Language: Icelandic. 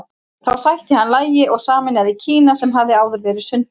Þá sætti hann lagi og sameinaði Kína sem hafði áður verið sundrað.